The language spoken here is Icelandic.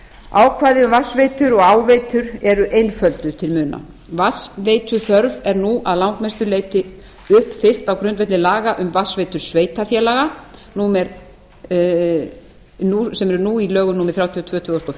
ákvæði um vatnsveitur og áveitur eru einfölduð til muna vatnsveituþörf er nú að langmestu leyti uppfyllt á grundvelli laga um vatnsveitu sveitarfélaga sem eru nú í lögum númer þrjátíu og tvö tvö þúsund og